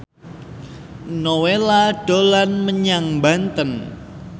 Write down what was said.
Nowela dolan menyang Banten